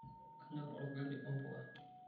Kanyorr olgali ompuka.